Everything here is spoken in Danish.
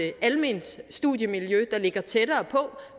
et alment studiemiljø der ligger tættere på